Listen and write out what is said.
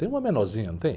Tem uma menorzinha, não tem?